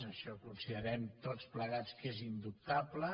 això considerem tots plegats que és indubtable